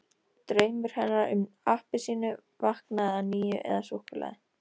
Draumur hennar um appelsínu vaknaði að nýju- eða súkkulaði!